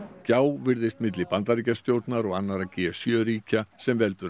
gjá virðist á milli Bandaríkjastjórnar og annarra g sjö ríkja sem veldur